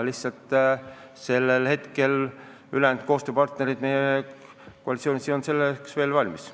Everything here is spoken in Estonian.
Lihtsalt koostööpartnerid koalitsioonist ei olnud selleks veel valmis.